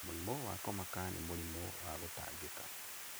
Mũrimũ wa kũmaka nĩ mũrimũ wa gũtangĩka.